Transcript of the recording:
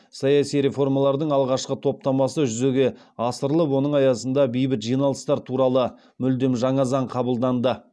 саяси реформалардың алғашқы топтамасы жүзеге асырылып оның аясында бейбіт жиналыстар туралы мүлдем жаңа заң қабылданды